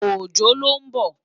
Ojo ló n bò